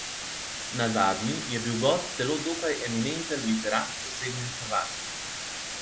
Na zadnji je bil gost celo dokaj eminenten literat s sosednje Hrvaške.